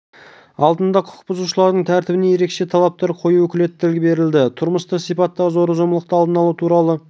алдында құқық бұзушылардың тәртібіне ерекше талаптар қою өкілеттігі берілді тұрмыстық сипаттағы зорлық-зомбылықтың алдын алу туралы